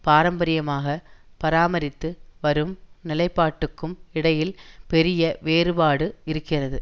பாரம்பரியமாக பராமரித்து வரும் நிலைப்பாட்டுக்கும் இடையில் பெரிய வேறுபாடு இருக்கிறது